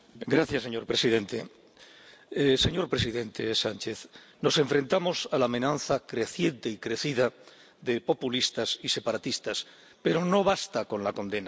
Señor presidente, señor presidente Sánchez, nos enfrentamos a la amenaza creciente y crecida de populistas y separatistas, pero no basta con la condena.